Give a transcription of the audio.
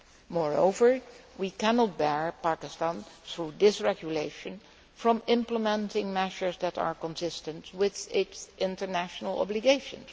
Moreover, we cannot prohibit Pakistan, through this regulation, from implementing measures that are consistent with its international obligations.